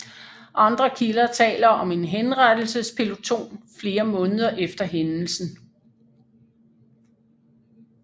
Andre kilder taler om en henrettelsespeloton flere måneder efter hændelsen